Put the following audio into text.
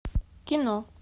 кино